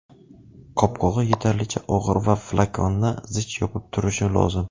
Qopqog‘i yetarlicha og‘ir va flakonni zich yopib turishi lozim.